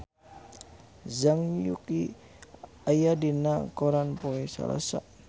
Zhang Yuqi aya dina koran poe Salasa